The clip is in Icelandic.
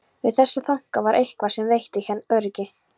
Við þessa þanka var eitthvað sem veitti henni öryggi.